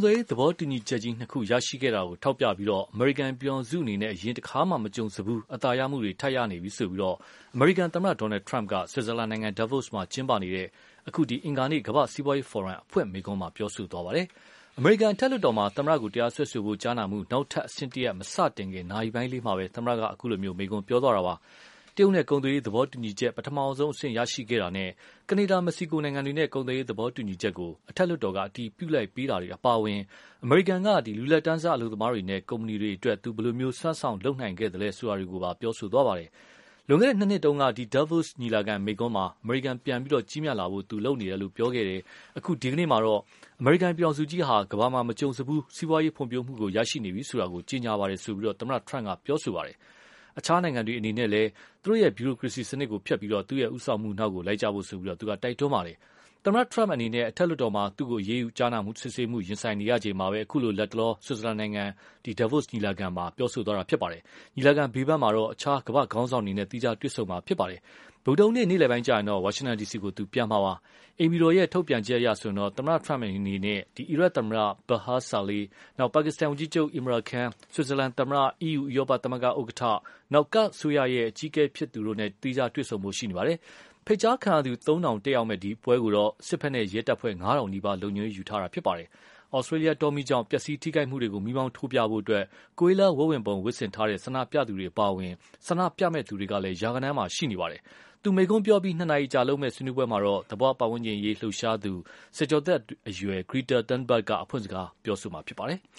သွယ်ရေးသဘောတူညီချက်ကြီးနှစ်ခု ရရှိခဲ့တာကိုထောက်ပြပြီး၊ အမေရိကန်ပြည်ထောင်စုအနေနဲ့ အရင်တခါမှ မကြုံစဖူး အနိုင်ရမှုတွေ ထပ်ရနေပြီဆိုပြီး အမေရိကန်သမ္မတ Donald Trump က ဆွီဇာလန်နိုင်ငံ Davos မှာ ကျင်းပနေတဲ့ အခု အင်္ဂါနေ့ ကမ္ဘာ့စီးပွားရေးဖိုရမ် အဖွင့်မိန့်ခွန်းမှာ ပြောဆိုသွားပါတယ်။ အမေရိကန်အထက်လွှတ်တော်မှာ သမ္မတကို တရားစွဲဆိုဖို့ ကြားနာမှုနောက်ထပ်အဆင့်တရပ် မ စတင်ခင် နာရီပိုင်းလေးမှာပဲ သမ္မတက အခုလို မိန့်ခွန်းပြောခဲ့တာပါ။ တရုတ်နဲ့ကုန်သွယ်ရေးသဘောတူညီချက် ပထမဆုံးအဆင့်ရရှိခဲ့တာနဲ့ ကနေဒါ ၊ Mexico နိုင်ငံတွေနဲ့ ကုန်သွယ်ရေးသဘောတူညီချက်ကို အထက်လွှတ်တော်က အတည်ပြုပေးလိုက်တာတွေ အပါအဝင် အမေရိကန်က လူလတ်တန်းစားအလုပ်သမားတွေနဲ့ ကုမ္ပဏီတွေအတွက် သူ ဘယ်လို စွမ်းဆောင် လုပ်နိုင်ခဲ့သလဲဆိုတာတွေကိုပါ ပြောဆိုသွားပါတယ်။ လွန်ခဲ့တဲ့၂ နှစ်တုန်းက ဒီ Davos ညီလာခံ မိန့်ခွန်းမှာ အမေရိကန် ပြန်ပြီး ကြီးမြတ်လာဖို့ လုပ်နေတယ်လို့ ပြောခဲ့တယ်။ အခု ဒီကနေ့မှာတော့ အမေရိကန်ပြည်ထောင်စုမှာ ကမ္ဘာမှာ မကြုံစဖူး စီးပွားရေးဖွံဖြိုးမှု ရရှိနေပြီဆိုတာ ကြေညာပါတယ်ဆိုပြီး သမ္မတ Trump က ပြောဆိုသွားတာပါ။ အခြားနိုင်ငံတွေအနေနဲ့ သူတို့ ဗျူရိုကရေစီစနစ်ကို ဖျက်ပြီးတော့၊ သူ့ ဦးဆောင်မှုနောက် လိုက်ကြဖို့ကိုလည်း တိုက်တွန်းသွားပါတယ်။ သမ္မတ Trump အနေနဲ့ အထက်လွှတ်တော်မှာ သူ့ကို အရေးယူဖို့ ကြားနာစစ်ဆေးမှုတွေ ရင်ဆိုင်နေရချိန်မျာပဲ၊ လတ်တလောမှာတော့ ဆွီဇာလန်နိုင်ငံ အင်္ဂါနေ့မနက်မိန့်ခွန်းပြောပြီး ညီလာခံဘေးပန်းမှာ အခြားကမ္ဘာ့ခေါင်းဆောင်တွေနဲ့ သီးခြားတွေ့ဆုံမှာဖြစ်ပါတယ်။ ဗုဒ္ဓဟူးနေ့ နေ့လည်ပိုင်းကျရင်တော့ ဝါရှင်တန်ဒီစီကို ပြန်မှာပါ။ အိမ်ဖြူတော်ထုတ်ပြန်ချက်အရဆိုရင်တော့ သမ္မတ Trump အနေနဲ့ အီရတ်သမ္မတ Barham Salih ၊ ပါကစ္စတန်ဝန်ကြီးချုပ် Imran Khan ၊ ဆွီဇာလန် သမ္မတ Simonetta Sommaruga၊အီးယူ ဥရောပသမဂ္ဂဥက္ကဌ Ursula von der Leyen နဲ့ ကာဒ်ဒေသအစိုးရ အကြီးအကဲဖြစ်သူ Nechirvan Barzani တို့နဲ့ တွေ့ဆုံဆွေးနွေးဖို့ရှိပါတယ်။ ဖိတ်ကြားခံရသူ သုံးထောင်တတ်ရောက်မယ့် အဲဒီပွဲကိုတော့ စစ်ဘက်နဲ့ရဲတပ်ဖွဲ့ ငါးထောင်နီးပါး လုံခြုံရေးယူထားမှာဖြစ်ပါတယ်။ Australia တောမီးကြောင့် ပျက်စီးထိခိုက်မှုတွေကို မီးမောင်းထိုးပြဖို့ Koala ဝက်ဝံပုံ ဝတ်ဆင်ထားကြတဲ့ ဆန္ဒပြသူတွေအပါအဝင် ဆန္ဒပြမယ့်သူတွေကလည်း ရာဂဏန်းရှိနေပါတယ်။ သူ မိန့်ခွန်းပြောအပြီး နှစ်နာရီအကြာလုပ်မယ့် ဆွေးနွေးပွဲကိုတော့ သဘာ၀ ပတ်ဝန်းကျင်ရေးလှုပ်ရှားသူ ဆယ်ကျော်သက်အရွယ် Greta Thunberg က အဖွင့်စကားပြောဆိုမှာဖြစ်ပါတယ်။